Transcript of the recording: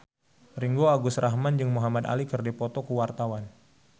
Ringgo Agus Rahman jeung Muhamad Ali keur dipoto ku wartawan